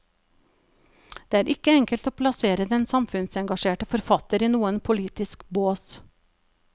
Det er ikke enkelt å plassere den samfunnsengasjerte forfatter i noen politisk bås.